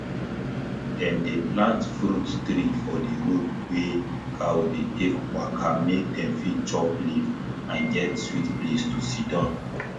dem dey plant fruit tree for di road wey cow dey take waka mek dem fit chop leaf and get sweet place to sidon